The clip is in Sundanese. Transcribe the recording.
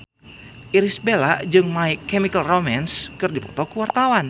Irish Bella jeung My Chemical Romance keur dipoto ku wartawan